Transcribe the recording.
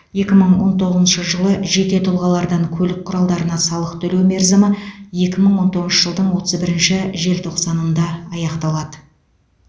екі мың он тоғызыншы жылы жеке тұлғалардан көлік құралдарына салық төлеу мерзімі екі мың он тоғызыншы жылдың отыз бірінші желтоқсанында аяқталады